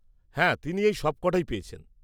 -হ্যাঁ তিনি এই সবকটাই পেয়েছেন।